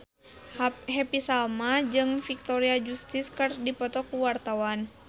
Happy Salma jeung Victoria Justice keur dipoto ku wartawan